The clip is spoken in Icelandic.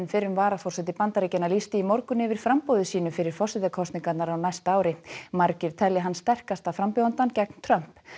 fyrrum varaforseti Bandaríkjanna lýsti í morgun yfir framboði sínu fyrir forsetakosningarnar á næsta ári margir telja hann sterkasta frambjóðandann gegn Trump